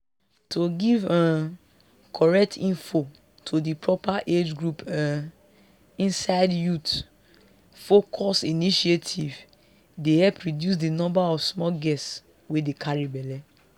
to give um correct info to di proper age group um inside youth-focused initiative dey help reduce di number of small girls wey dey carry belle